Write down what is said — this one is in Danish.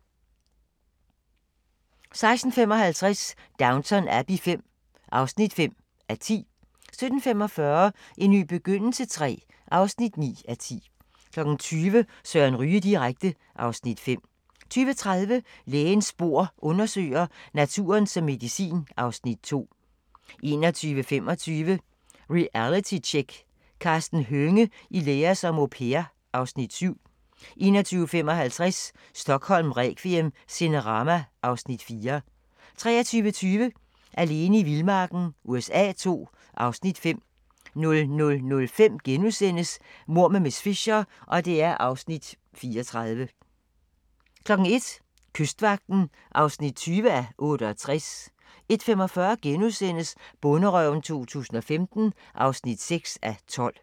16:55: Downton Abbey V (5:10) 17:45: En ny begyndelse III (9:10) 20:00: Søren Ryge direkte (Afs. 5) 20:30: Lægens bord undersøger: Naturen som medicin (Afs. 2) 21:25: Realitytjek: Karsten Hønge i lære som au pair (Afs. 7) 21:55: Stockholm requiem: Cinerama (Afs. 4) 23:20: Alene i vildmarken USA II (Afs. 5) 00:05: Mord med miss Fisher (34:13)* 01:00: Kystvagten (20:68) 01:45: Bonderøven 2015 (6:12)*